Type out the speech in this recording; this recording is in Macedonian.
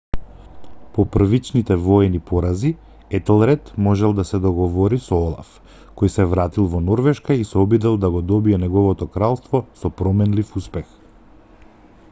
по првичните воени порази етелред можел да се договори со олаф кој се вратил во норвешка и се обидел да го добие неговото кралство со променлив успех